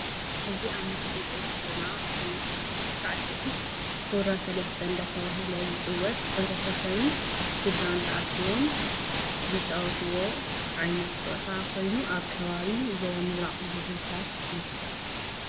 እዚ ኣብ ምስሊ ንርኦ ዘለና ዓይነት ሳስዒ ውራ ሰለስተ እዳተበሃለ ዝፅወት ሕ/ሰብን ስድራን ተኣክቦም ዝጫወትዎ ዓይነት ጨወታ ኮይኑ ኣብ ከባቢ ዞባ ምብራቅ ዝዝውተር እዩ።